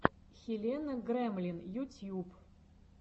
хелена гремлин ютьюб